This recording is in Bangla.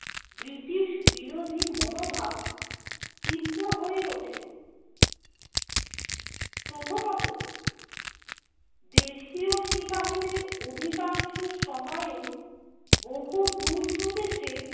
ব্রিটিশ বিরোধী মনোভাব তীব্র হয়ে ওঠে। প্রথমত, দেশীয় সিপাহিদের অধিকাংশ সময়েই বহুদূর প্রদেশে